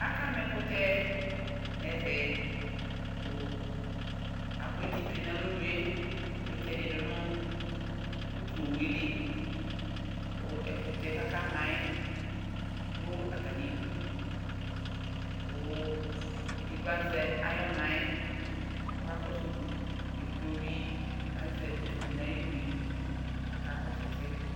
Aka ma ɛkʋtɛ n'ɛvɛ, kʋ akʋneti tsue n'alɔnu yɛ, akʋ eti ɛdɩ dʋ nʋ utu owu yɛ li, kʋ ɛkʋtɛ k'akama yɛdʋ atamidu, kʋ edigbo azɛ ay'ɔna yɛ, k'ɔkakɔsʋ udu k'edigbo bɩ azɛ utu dɩ n'ayidu yɛ k'akakɔsʋ ɛsɛ